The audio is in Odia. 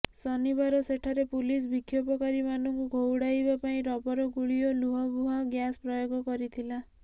ଶନିବାର ସେଠାରେ ପୁଲିସ ବିକ୍ଷୋଭକାରୀମାନଙ୍କୁ ଘଉଡ଼ାଇବାପାଇଁ ରବର ଗୁଳି ଓ ଲୁହବୁହା ଗ୍ୟାସ ପ୍ରୟୋଗ କରିଥିଲା